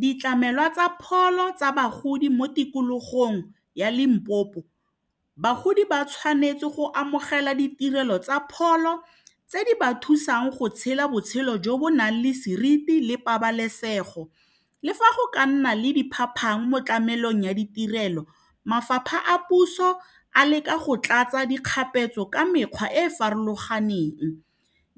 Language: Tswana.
Ditlamelwa tsa pholo tsa bagodi mo tikologong ya Limpopo bagodi ba tshwanetse go amogela ditirelo tsa pholo tse di ba thusang go tshela botshelo jo bo nang le seriti le pabalesego le fa go ka nna le diphapang mo tlamelong ya ditirelo mafapha a puso a leka go tlatsa dikgapetso ka mekgwa e e farologaneng